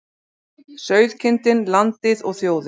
Sauðkindin, landið og þjóðin.